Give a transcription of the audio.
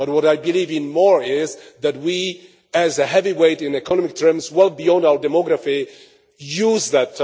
But what I believe even more is that we, as a heavyweight in economic terms well beyond our demography, should use that.